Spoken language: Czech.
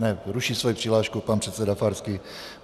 Ne, ruší svoji přihlášku pan předseda Farský.